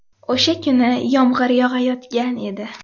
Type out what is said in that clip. O‘sha kuni yomg‘ir yog‘ayotgan edi.